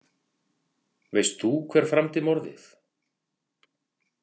Veist þú hver framdi morðið?